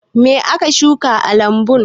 Me aka shuka a lambun?